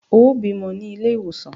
Ó bímọ ní ilé ìwòsàn!